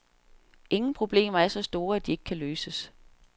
Ingen problemer er så store, at de ikke kan løses.